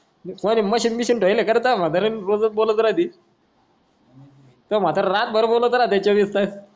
माचीच्या बिशीं राहिले करता म्हतारे रोजच बोलत राहती तो म्हतारा रात भर बोलत राहते